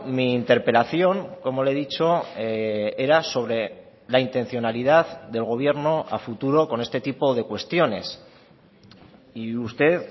mi interpelación como le he dicho era sobre la intencionalidad del gobierno a futuro con este tipo de cuestiones y usted